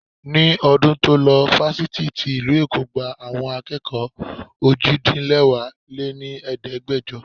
Ní ọdún to lo Fáfitì tí ìlú Èkó gba àwọn akẹ́kọ̀ọ́ òjì-dín-lẹwá lé ní Ẹ̀ẹ́dẹ́gbẹjọ.